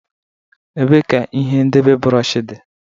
Ebee ka ihe ndebe bụrọshị?